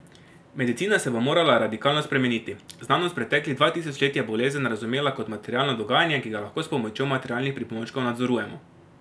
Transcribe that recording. Medicina se bo morala radikalno spremeniti: 'Znanost preteklih dva tisoč let je bolezen razumela kot materialno dogajanje, ki ga lahko s pomočjo materialnih pripomočkov nadzorujemo.